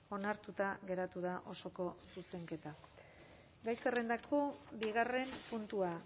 onartuta geratu da osoko zuzenketa gai zerrendako bigarren puntua